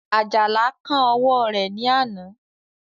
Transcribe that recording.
Àjàlá kán ọwọ́ rẹ̀ ní àná